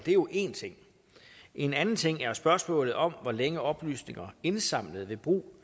er jo en ting en anden ting er spørgsmålet om hvor længe oplysninger indsamlet ved brug